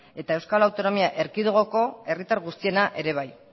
eta euskal autonomia erkidegoko herritar guztiena ere bai